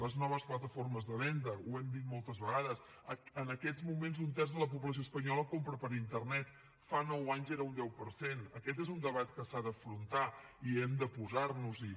les noves plataformes de venda ho hem dit moltes vegades en aquests moments un terç de la població espanyola compra per internet fa nou anys era un deu per cent aquest és un debat que s’ha d’afrontar i hem de posar nos hi